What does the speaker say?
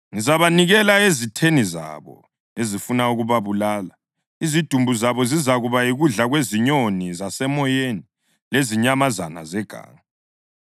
ngizabanikela ezitheni zabo ezifuna ukubabulala. Izidumbu zabo zizakuba yikudla kwezinyoni zasemoyeni lezinyamazana zeganga.